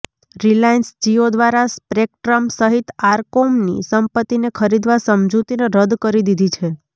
Reliance Jio દ્વારા spectrum સહિત આરકોમની સંપત્તિને ખરીદવા સમજૂતિને રદ કરી દીધી છે